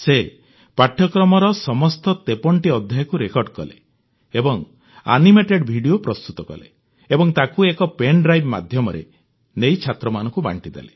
ସେ ପାଠ୍ୟକ୍ରମର ସମସ୍ତ 53ଟି ଅଧ୍ୟାୟକୁ ରେକର୍ଡ କଲେ ଏବଂ ଆନିମେଟେଡ ଭିଡିଓ ପ୍ରସ୍ତୁତ କଲେ ଏବଂ ତାକୁ ଏକ ପେନ୍ଡ୍ରାଇଭ ମାଧ୍ୟମରେ ନେଇ ଛାତ୍ରଛାତ୍ରୀଙ୍କୁ ବାଂଟିଦେଲେ